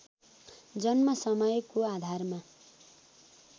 जन्म समयको आधारमा